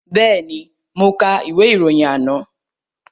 Bẹ́ẹ̀ni, mo ka ìwé ìròyìn àná